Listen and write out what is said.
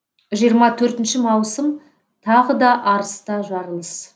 жиырма төртінші маусым тағы да арыста жарылыс